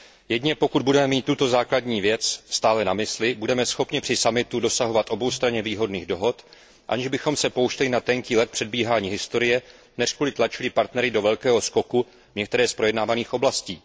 Jedině pokud budeme mít tuto základní věc stále na mysli, budeme schopni při summitu dosahovat oboustranně výhodných dohod, aniž bychom se pouštěli na tenký led předbíhání historie, neřku li tlačili partnery do velkého skoku v některé z projednávaných oblastí.